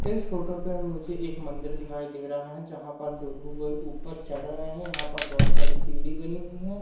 इस फोटो पे मुझे एक मंदिर दिखाई दे रहा है जहां पर दो लोग के ऊपर चढ़ रहे हैं यहां पर बहुत सारी सीढ़ी बनी हुई हैं।